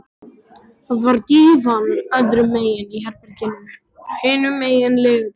Það var dívan öðrum megin í herberginu, hinum megin legubekkur.